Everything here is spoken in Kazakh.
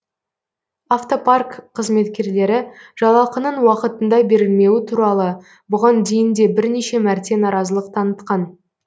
автопарк қызметкерлері жалақының уақытында берілмеуі туралы бұған дейін де бірнеше мәрте наразылық танытқан